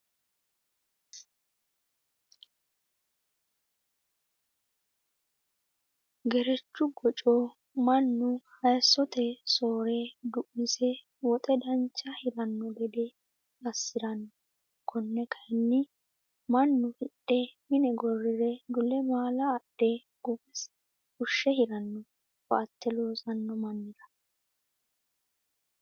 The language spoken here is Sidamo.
Gerechu goco mannu hayisote soore du'mise woxe dancha hirano gede assirano kone kayinni mannu hidhe mine gorire dule maala adhe gogasi fushshe hirano koate loossano mannira.